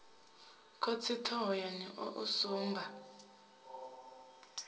khosi thohoyanḓ ou u sumba